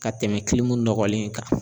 Ka tɛmɛ nɔgɔlen kan.